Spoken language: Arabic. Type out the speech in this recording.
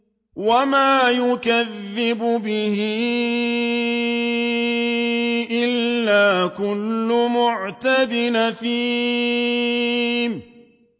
وَمَا يُكَذِّبُ بِهِ إِلَّا كُلُّ مُعْتَدٍ أَثِيمٍ